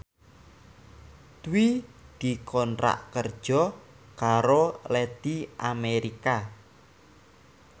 Dwi dikontrak kerja karo Lady America